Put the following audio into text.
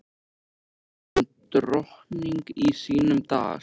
Hér er hún drottning í sínum dal.